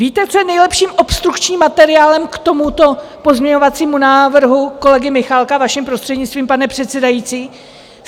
Víte, co je nejlepším obstrukčním materiálem k tomuto pozměňovacímu návrhu kolegy Michálka, vaším prostřednictvím, pane předsedající?